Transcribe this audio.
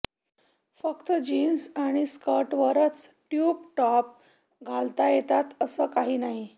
फक्त जीन्स आणि स्कर्ट्सवरच ट्यूब टॉप घालता येतात असं काही नाही